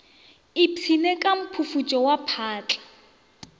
ipshinne ka mphufutšo wa phatla